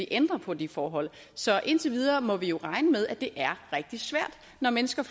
ændre på det forhold så indtil videre må vi jo regne med at det er rigtig svært når mennesker